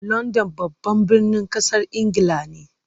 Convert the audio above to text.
London babban birnin kasar Ingila ne.